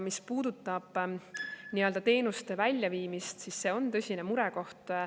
Mis puudutab teenuste väljaviimist, siis see on tõsine murekoht.